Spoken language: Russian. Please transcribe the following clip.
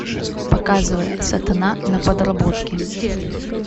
показывай сатана на подработке